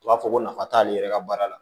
U b'a fɔ ko nafa t'ale yɛrɛ ka baara la